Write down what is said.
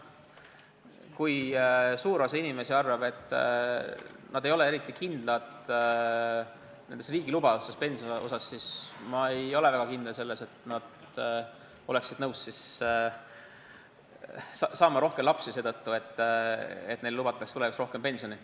Kui suur osa inimesi ei ole eriti kindlad riigi pensionilubaduste osas, siis ma väga ei usu, et nad oleksid nõus saama rohkem lapsi seetõttu, et neile lubatakse tulevikus rohkem pensioni.